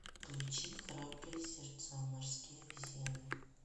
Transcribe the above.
включи храбрые сердца морские обезьяны